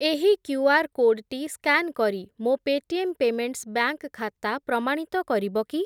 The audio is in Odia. ଏହି କ୍ୟୁଆର୍ କୋଡ୍‌ଟି ସ୍କାନ୍ କରି ମୋ ପେଟିଏମ୍ ପେମେଣ୍ଟ୍‌ସ୍ ବ୍ୟାଙ୍କ୍‌ ଖାତା ପ୍ରମାଣିତ କରିବ କି?